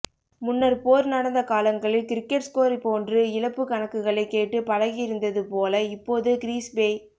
முன்னர் போர் நடந்த காலங்களில் கிரிக்கெட் ஸ்கோர் போன்று இழப்புக் கணக்குகளை கேட்டுப் பழகியிருந்தது போல இப்போது கிறீஸ்பேய்